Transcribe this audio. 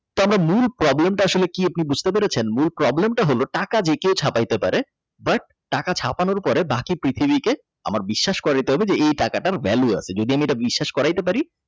আচ্ছা মূল Problem টা কি আসলে আপনি বুঝতে পেরেছেন আমার Problem টা হলো টাকা যে কেউ ছাপাইতে পারে but টাকা ছাপানোর পরে বাকি পৃথিবীতে আমার বিশ্বাস করাই দিতে হবে যে এই টাকাটার ভ্যালু আছে যদি আমি এটা বিশ্বাস করাতে পার।